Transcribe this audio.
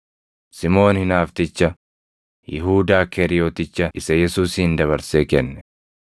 Simoon Hinaafticha, Yihuudaa Keeriyoticha isa Yesuusin dabarsee kenne.